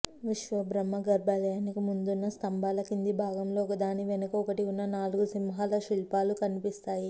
విశ్వబ్రహ్మ గర్భాలయానికి ముందున్న స్తంభాల కింది భాగంలో ఒకదాని వెనక ఒకటి ఉన్న నాలుగు సింహాల శిల్పాలు కనిపిస్తాయి